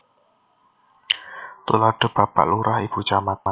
Tuladha Bapak Lurah Ibu Camat